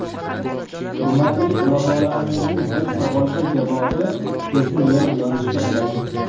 Hurmatli ulamolarimizning bir savolga javobi bizni yana yozishga undadi.